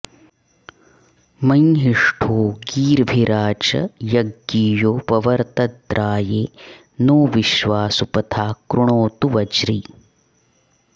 मंहि॑ष्ठो गी॒र्भिरा च॑ य॒ज्ञियो॑ व॒वर्त॑द्रा॒ये नो॒ विश्वा॑ सु॒पथा॑ कृणोतु व॒ज्री